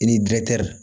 I ni dɛr